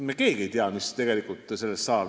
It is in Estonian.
Me keegi ei tea, mis sellest asjast tegelikult saab.